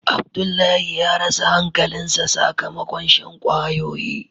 Abdullahi ya rasa hankali sa sakamakon shan kwayoyi.